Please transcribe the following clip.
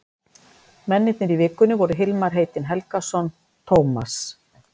Mennirnir í Vikunni voru Hilmar heitinn Helgason, Tómas